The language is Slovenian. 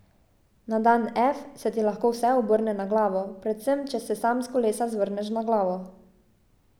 Na dan F se ti lahko vse obrne na glavo, predvsem če se sam s kolesa zvrneš na glavo.